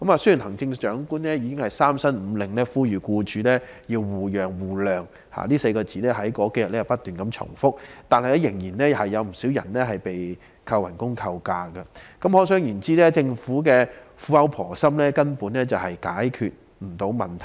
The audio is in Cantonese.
雖然行政長官已三申五令呼籲僱主要互讓互諒——這4個字在當天不斷重複出現——但仍有不少僱員被扣減工資或假期，可想而知政府的苦口婆心根本無法解決問題。